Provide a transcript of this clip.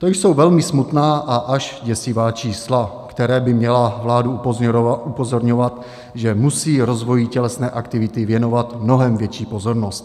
To jsou velmi smutná a až děsivá čísla, která by měla vládu upozorňovat, že musí rozvoji tělesné aktivity věnovat mnohem větší pozornost.